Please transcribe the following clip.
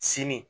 Sini